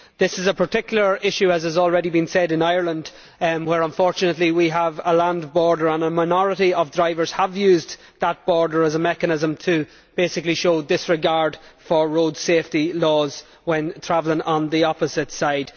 This is a particular issue, as has already been said, in Ireland, where unfortunately we have a land border and a minority of drivers have used that border as a mechanism to basically show disregard for road safety laws when travelling on the opposite side.